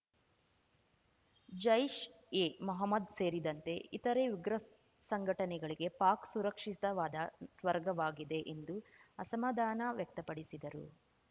ಜೈಷ್‌ಎಮೊಹಮ್ಮದ್‌ ಸೇರಿದಂತೆ ಇತರೆ ಉಗ್ರ ಸಂಗ್ ಸಂಘಟನೆಗಳಿಗೆ ಪಾಕ್‌ ಸುರಕ್ಷಿತವಾದ ಸ್ವರ್ಗವಾಗಿದೆ ಎಂದು ಅಸಮಾಧಾನ ವ್ಯಕ್ತಪಡಿಸಿದರು